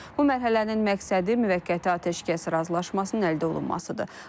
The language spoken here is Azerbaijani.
Bu mərhələnin məqsədi müvəqqəti atəşkəs razılaşmasının əldə olunmasıdır.